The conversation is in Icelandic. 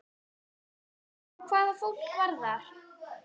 Já, hvað fólk varðar.